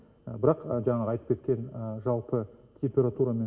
бірақ жаңағы айтып кеткен жалпы температурамен